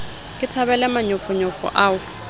ke thabele manyofonyo ao o